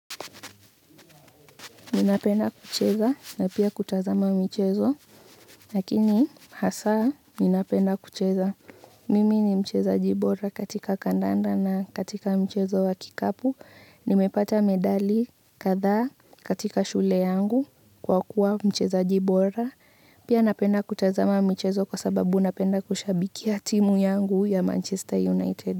Ninapenda kucheza na pia kutazama michezo. Lakini hasa ninapenda kucheza. Mimi ni mchezaji bora katika kandanda na katika mchezo wa kikapu. Nimepata medali katha katika shule yangu kwa kuwa mchezaji bora. Pia napenda kutazama michezo kwa sababu napenda kushabikia timu yangu ya manchester united.